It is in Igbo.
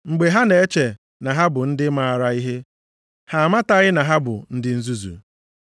Mgbe ha na-eche na ha bụ ndị maara ihe, ha amataghị na ha bụ ndị nzuzu.